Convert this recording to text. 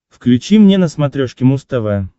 включи мне на смотрешке муз тв